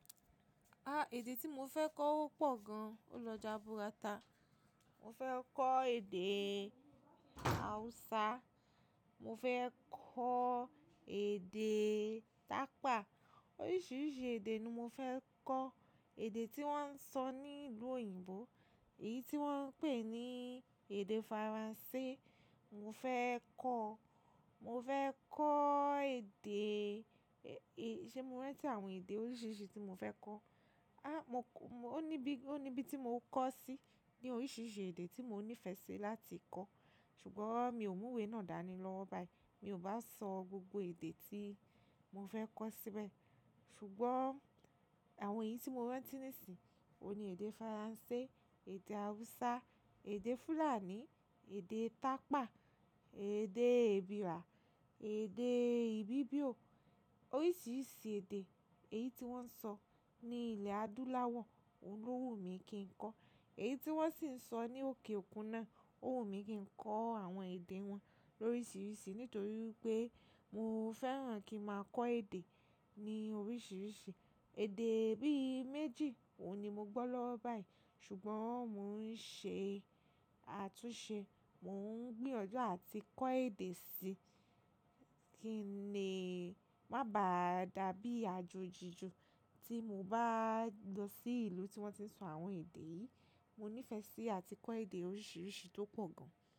Ah! Èdè tí mo fẹ́ kọ́ wọ́pọ̀ gan-an. O lọ já búràtà. Mo fẹ́ kọ́ èdè Hausa, mo fẹ́ kọ́ èdè Tapa, oríṣiríṣi èdè ni mo fẹ́ kọ́. Èdè tí wọ́n ń sọ ní ìlú òyìnbó, èyí tí wọ́n ń pè ní èdè Faransé, mo fẹ́ kọ́. Mo fẹ́ kọ́ èdè, e, ṣe mo rántí àwọn èdè oríṣiríṣi tí mo fẹ́ kọ́? Ah! Mo k- ó ní bí, ó ní bí tí mo kọ́ sí ní oríṣiríṣi èdè tí mo nífẹ̀ẹ́ sí láti kọ́. Ṣùgbọ́n mi ò mú ìwé náà dání lọwo báyìí. Mi ò bá sọ gbogbo èdè tí mo fẹ́ kọ́ síbẹ̀. Ṣùgbọ́n àwọn èyí tí mo rántí nísìnyí, òun ni èdè Faransé, èdè Hausa, èdè Fùlàní, èdè Tapa, èdè Ebira, èdè Ibibio. Oríṣiríṣi èdè, èyí tí wọ́n ń sọ ní ilẹ̀ adúláwọ̀, òun ló wù mí kí n kọ́. Èyí tí wọ́n sì ń sọ ní òkè òkun náà, ó wù mí kí n kọ́ àwọn èdè wọn lóríṣiríṣi. Nítorí pé mo fẹ́ràn kí màá kọ́ èdè ní oríṣiríṣi. Èdè bí i méjì òun ni mo gbọ́ lọwo báyìí. Ṣùgbọ́n mò ń ṣe àtúnṣe, mò ń gbiyanju àti kọ́ èdè sí. Kí le, má ba à dàbí àjòjí ju tí mo bá lọ sí ìlú tí wọ́n ti ń sọ àwọn èdè yìí. Mo nífẹ̀ẹ́ sí àti kọ́ èdè oríṣiríṣi tó pọ̀ gan-an.